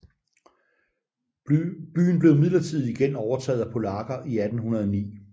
Byen blev midlertidigt igen overtaget af polakker i 1809